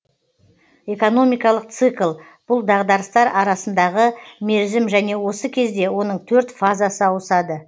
экономикалық цикл бұл дағдарыстар арасындағы мерзім және осы кезде оның төрт фазасы ауысады